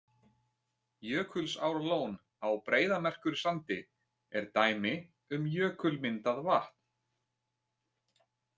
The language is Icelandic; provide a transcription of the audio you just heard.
Jökulsárlón á Breiðamerkursandi er dæmi um jökulmyndað vatn.